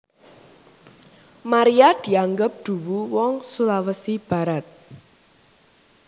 Maria dianggep duwu wong Sulawesi Barat